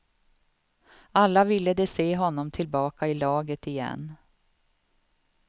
Alla ville de se honom tillbaka i laget igen.